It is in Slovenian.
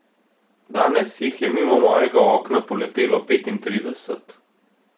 Danes jih je mimo mojega okna poletelo petintrideset.